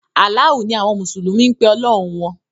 “Alaahu” ni awọn mùsùlùmí ń pe “ọlọ́hun” wọn.